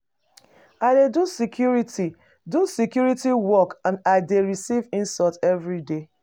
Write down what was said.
I dey do security do security work and I dey receive insult everyday.